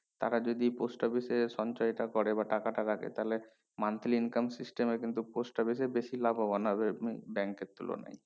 টাকা যদি post office এ সঞ্চয় টা করে বা টাকাটা রাখে তালে monthly income system কিন্তু post office এ বেশি লাভোবান হবে উহ bank এর তুলনায়